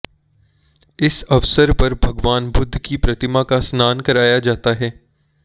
इस अवसर पर भगवान बुद्ध की प्रतिमा का स्नान कराया जाता है